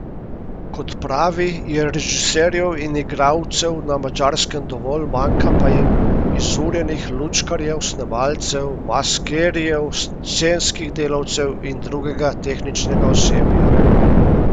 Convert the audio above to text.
Kot pravi, je režiserjev in igralcev na Madžarskem dovolj, manjka pa jim izurjenih lučkarjev, snemalcev, maskerjev, scenskih delavcev in drugega tehničnega osebja.